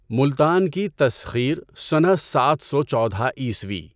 ملتان کی تسخیر سنہ سات سو چودہ عیسوی۔